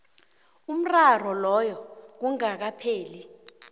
umraro loyo kungakapheli